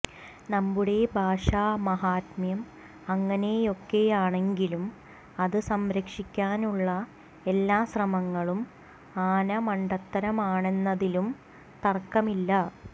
നമ്മുടെ ഭാഷാ മാഹാത്മ്യം അങ്ങനെയൊക്കയാണെങ്കിലും അത് സംരക്ഷിക്കാനുളള എല്ലാ ശ്രമങ്ങളും ആനമണ്ടത്തരമാണെന്നതിലും തര്ക്കമില്ല